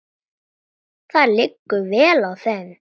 Það liggur vel á þeim.